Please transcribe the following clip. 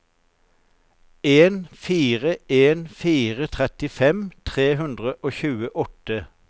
en fire en fire trettifem tre hundre og tjueåtte